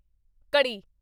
ਘੜੀ